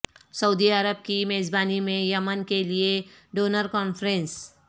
سعودی عرب کی میزبانی میں یمن کے لیے ڈونر کانفرنس